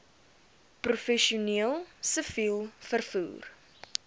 professioneel siviel vervoer